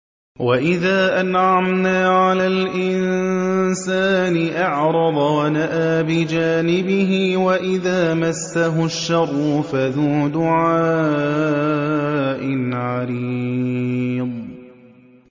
وَإِذَا أَنْعَمْنَا عَلَى الْإِنسَانِ أَعْرَضَ وَنَأَىٰ بِجَانِبِهِ وَإِذَا مَسَّهُ الشَّرُّ فَذُو دُعَاءٍ عَرِيضٍ